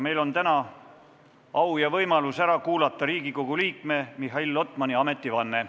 Meil on täna au ja võimalus ära kuulata Riigikogu liikme Mihhail Lotmani ametivanne.